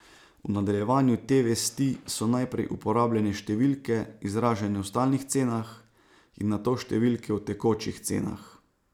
V nadaljevanju te vesti so najprej uporabljene številke, izražene v stalnih cenah, in nato številke v tekočih cenah.